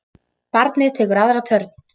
Barnið tekur aðra törn.